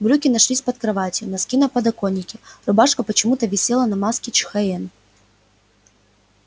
брюки нашлись под кроватью носки на подоконике рубашка почему-то висела на маске чхоен